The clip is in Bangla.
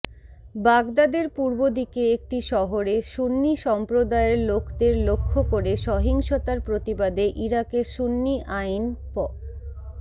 বাগদাদের পূর্বদিকে একটি শহরে সুন্নী সম্প্রদায়ের লোকদের লক্ষ্য করে সহিংসতার প্রতিবাদে ইরাকের সুন্নী আইন প্